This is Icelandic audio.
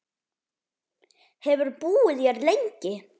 Hefurðu búið hér lengi?